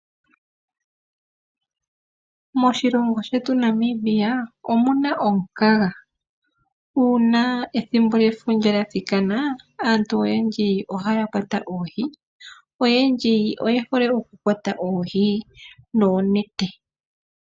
Moshilongo shetu Namibia omuna omukaga. Uuna ethimbo lyefundja lyathikana aantu oyendji ohaya kwata oohi. Oyendji oye hole okukwata oohi noonete.